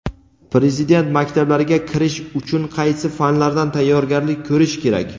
Prezident maktablariga kirish uchun qaysi fanlardan tayyorgarlik ko‘rish kerak?.